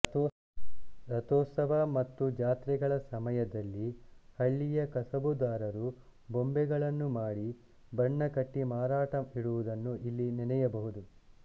ರಥೋತ್ಸವ ಮತ್ತು ಜಾತ್ರೆಗಳ ಸಮಯದಲ್ಲಿ ಹಳ್ಳಿಯ ಕಸಬುದಾರರು ಬೊಂಬೆಗಳನ್ನು ಮಾಡಿ ಬಣ್ಣ ಕಟ್ಟಿ ಮಾರಾಟಕ್ಕೆ ಇಡುವುದನ್ನು ಇಲ್ಲಿ ನೆನೆಯಬಹುದು